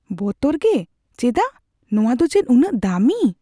ᱵᱚᱛᱚᱨ ᱜᱮ? ᱪᱮᱫᱟᱜ? ᱱᱚᱶᱟ ᱫᱚ ᱪᱮᱫ ᱩᱱᱟᱹᱜ ᱫᱟᱹᱢᱤ ?